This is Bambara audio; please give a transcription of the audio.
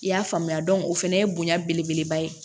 I y'a faamuya o fana ye bonya belebeleba ye